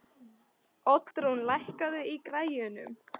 Oddrún, lækkaðu í græjunum.